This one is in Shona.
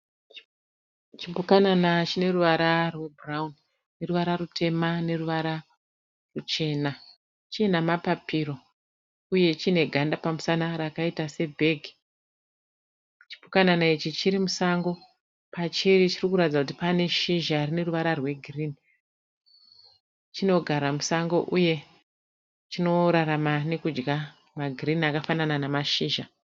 Chipukanana chineruvara rwe bhurauni neruvara rutema neruvara ruchena. .China mapapiro uye chine ganda pamusana rakaita se bhegi. Chipukanana ichi chiri musango. Pachiri chirikuratidza kuti pane shizha rine ruvara rwe girinhi . Chinogara musango uye chinorarama nekudya ma girinhi akafanana namashizha.